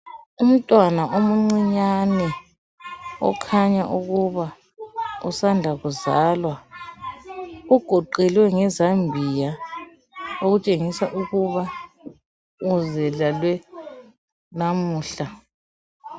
Umntwana omuncinyane okhanya ukuba usanda kuzalwa, ugoqelwe ngezambiya okutshengisa ukuba uzilalwe namuhla.